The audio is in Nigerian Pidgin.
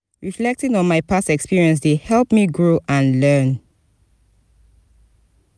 reflecting on my past experiences dey help me grow and learn.